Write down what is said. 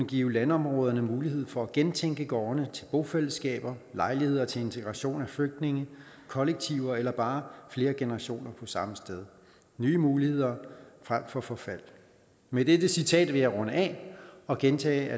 give landområderne mulighed for at gentænke gårdene til bofællesskaber lejligheder til integration af flygtninge kollektiver eller bare flere generationer på samme sted nye muligheder frem for forfald med dette citat vil jeg runde af og gentage